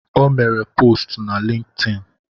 O mere postu na Lintin